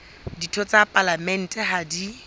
ditho tsa palamente ha di